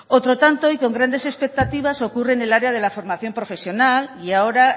otro tanto y con grandes expectativas ocurre en el área de la formación profesional y ahora